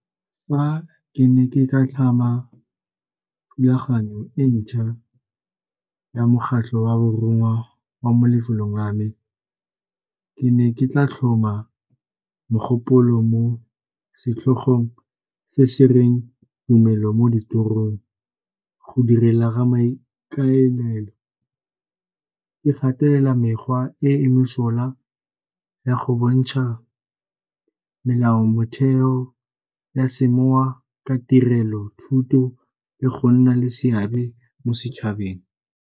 Fa ke ne ke ka tlhama thulaganyo e ntšha ya mokgatlho wa borongwa wa mo lefelong la me, ke ne ke tla tlhoma mogopolo mo setlhogong se se reng tumelo mo ditirong. Go direla ga maikaelelo e gatelela mekgwa e mesola ya go bontjha melao, motheo ya semoya ka tirelo, thuto le go nna le seabe mo setšhabeng.